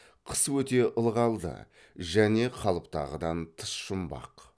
қысы өте ылғалды және қалыптағыдан тыс жұмбақ